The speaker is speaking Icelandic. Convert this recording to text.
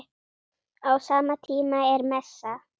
Á sama tíma er messa.